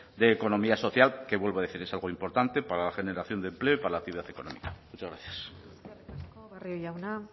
de economía social que vuelvo a decir es algo importante para la generación de empleo y para la actividad económica muchas gracias eskerrik asko barrio jauna